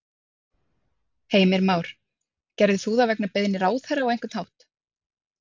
Heimir Már: Gerðir þú það vegna beiðni ráðherra á einhvern hátt?